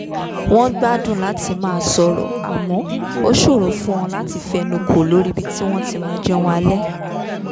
wọ́n gbádùn láti máa sọ̀rọ̀ àmọ́ ó ṣòro fún wọn láti fẹnukò lórí ibi tí wọ́n ti máa jẹun alẹ́